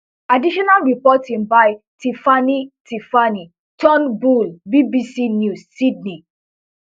additional reporting by tiffanie tiffanie turnbull bbc news sydney